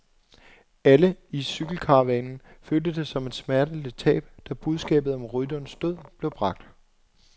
Alle i cykelkaravanen følte det som et smerteligt tab, da budskabet om rytterens død blev bragt.